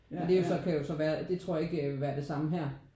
Men det jo så kan jo så være det tror jeg ikke ville være det samme her